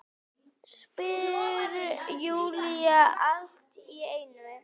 spyr Júlía allt í einu.